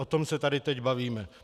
O tom se tady teď bavíme.